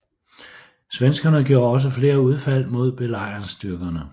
Svenskerne gjorde også flere udfald mod belejringsstyrkerne